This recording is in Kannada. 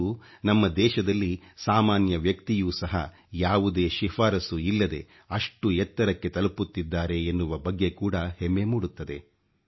ಇಂದು ನಮ್ಮ ದೇಶದಲ್ಲಿ ಸಾಮಾನ್ಯ ವ್ಯಕ್ತಿಯೂ ಸಹ ಯಾವುದೇ ಶಿಫಾರಸು ಇಲ್ಲದೆ ಅಷ್ಟು ಎತ್ತರಕ್ಕೆ ತಲುಪುತ್ತಿದ್ದಾರೆ ಎನ್ನುವ ಬಗ್ಗೆ ಕೂಡ ಹೆಮ್ಮೆ ಮೂಡುತ್ತದೆ